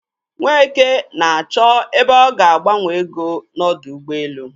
Nweke na-achọ ebe ọ ga agbanwe ego n'ọdọ ụgbọelu.